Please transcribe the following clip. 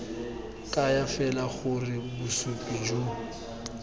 kaya fela gore bosupi jo